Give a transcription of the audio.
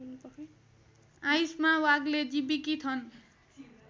आयुष्मा वाग्लेजी विकिथन